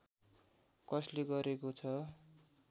कसले गरेको छ